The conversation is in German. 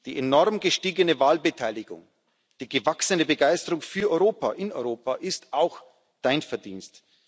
Die enorm gestiegene Wahlbeteiligung, die gewachsene Begeisterung für Europa in Europa ist auch Dein Verdienst.